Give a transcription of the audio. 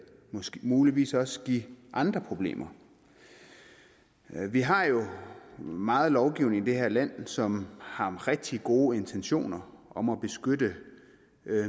muligvis også give andre problemer vi har jo meget lovgivning i det her land som har rigtig gode intentioner om at beskytte